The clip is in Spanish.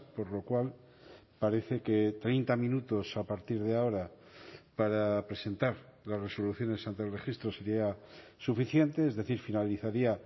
por lo cual parece que treinta minutos a partir de ahora para presentar las resoluciones ante el registro sería suficiente es decir finalizaría